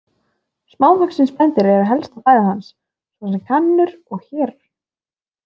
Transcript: Smávaxin spendýr eru helsta fæða hans, svo sem kanínur og hérar.